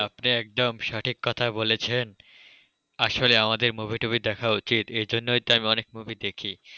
আপনি একদম সঠিক কথা বলেছেন আসলে আমাদের movie টুভি দেখা উচিত, এই জন্যই তো আমি অনেক movie দেখি।